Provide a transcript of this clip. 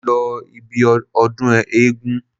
Mo lọ ibi ọdún eégún.